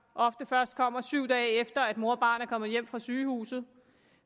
ofte først kommer syv dage efter at mor og barn er kommet hjem fra sygehuset